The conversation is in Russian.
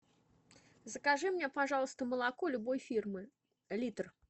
закажи мне пожалуйста молоко любой фирмы литр